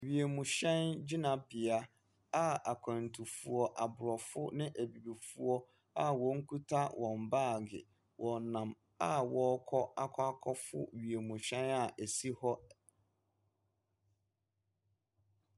Wiemhyɛn gyinabea a akwantufoɔ, aborɔfo ne abibifoɔ a wɔkuta wɔn baage, wɔnam a wɔrekɔ akɔ akɔforo wiemhyɛn a ɛsi hɔ. Ɛ .